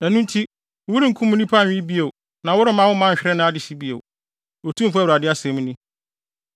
ɛno nti worenkum nnipa nwe bio na woremma wo man nhwere nʼadehye bio, Otumfo Awurade asɛm ni.